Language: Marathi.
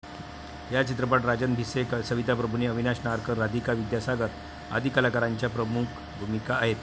या चित्रपटात राजन भिसे, सविता प्रभूणे, अविनाश नारकर, राधिका विद्यासागर आदी कलाकारांच्या प्रमुख भूमिका आहेत.